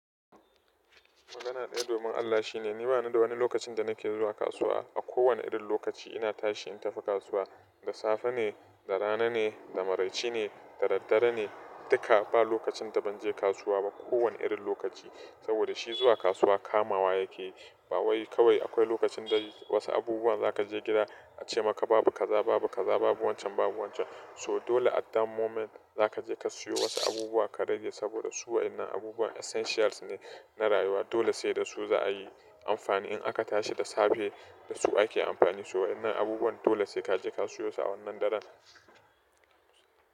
Magana ta domin Allah shine ni bani da wani lokacin da nake zuwa kasuwa. A kowane irin lokaci ina tashi in tafi kasuwa, da safe ne, da rana ne, da maraice ne, da dare ne duka ba lokacin da ban je kasuwa ba. Ko wane irin lokaci saboda shi zuwa kasuwa kamawa yake yi. Ba wai kawai akwai lokacin da wasu abubuwan za ka je gida a ce maka babu kaza, babu kaza, babu wancan, babu wancan. So dole a that moment za ka je ka siyo wasu abubuwan ka rage saboda su waɗannan abubuwan essentials ne na rayuwa. Dole sai da su za a yi amfani in aka tashi da safe da su ake amfani. To waɗannan abubuwan dole sai ka je ka siyo su a wannan daren.